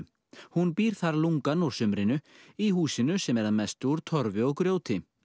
hún býr þar lungann úr sumrinu í húsinu sem er að mestu úr Torfi og grjóti